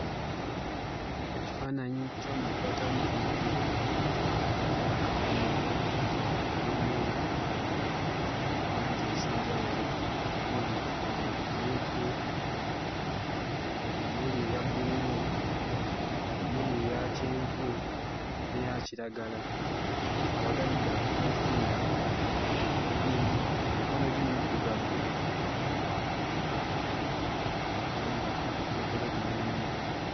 Ekifaananyi ky'omuntu ataliiko mutwe, alina akakomo akalimu langi ez'enjawulo omuli emmyufu, omuli eya bbululu, omuli eya kyenvu n'eya kiragala. Abagalidde akakoofiira, emikono gye middugavu era ng'olubuto lwe lunenenene.